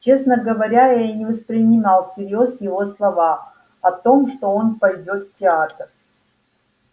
честно говоря я не воспринял всерьёз его слова о том что он пойдёт в театр